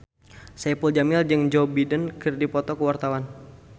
Saipul Jamil jeung Joe Biden keur dipoto ku wartawan